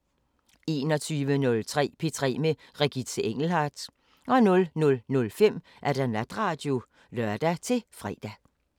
21:03: P3 med Regitze Engelhardt 00:05: Natradio (lør-fre)